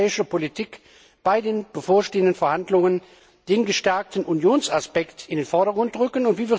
die europäische Politik bei den bevorstehenden Verhandlungen den gestärkten Unionsaspekt in den Vordergrund rücken?